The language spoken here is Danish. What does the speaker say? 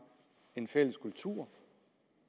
en fælles kultur